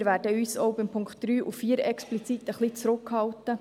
Wir werden uns auch bei den Punkten 3 und 4 explizit etwas zurückhalten.